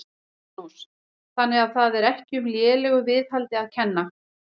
Magnús: Þannig að það er ekki um lélegu viðhaldi að kenna?